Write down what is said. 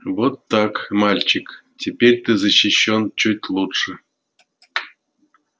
вот так мальчик теперь ты защищён чуть лучше